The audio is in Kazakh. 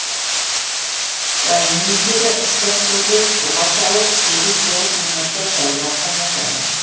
вареникиді ыстық тұзды суға салып сегіз тоғыз минуттай жайлап қайнатады